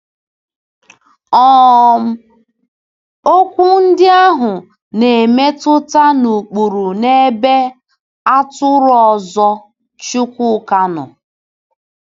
um Okwu ndị ahụ na-emetụta n’ụkpụrụ n’ebe “atụrụ ọzọ” Chukwuka nọ.